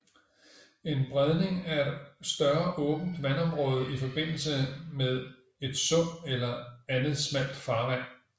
En bredning er et større åbent vandområde i forbindelse med et sund eller andet smalt farvand